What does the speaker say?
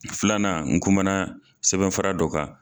Filanan n kuma na sɛbɛn fura dɔ kan.